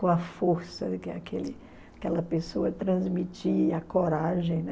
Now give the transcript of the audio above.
Com a força que aquele aquela pessoa transmitia, a coragem, né?